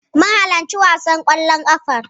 Mun halarci wasan ƙwallon ƙafar.